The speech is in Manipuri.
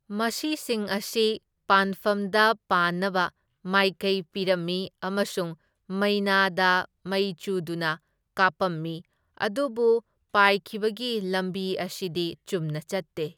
ꯃꯁꯤꯁꯤꯡ ꯑꯁꯤ ꯄꯥꯟꯐꯝꯗ ꯄꯥꯟꯅꯕ ꯃꯥꯏꯀꯩ ꯄꯤꯔꯝꯃꯤ ꯑꯃꯁꯨꯡ ꯃꯩꯅꯥꯗ ꯃꯩ ꯆꯨꯗꯨꯅ ꯀꯥꯞꯄꯝꯃꯤ, ꯑꯗꯨꯕꯨ ꯄꯥꯏꯈꯤꯕꯒꯤ ꯂꯝꯕꯤ ꯑꯁꯤꯗꯤ ꯆꯨꯝꯅ ꯆꯠꯇꯦ꯫